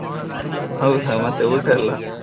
ಹೌದಾ ಮತ್ತೆ ಊಟ ಎಲ್ಲ.